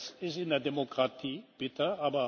Das ist in der Demokratie bitter.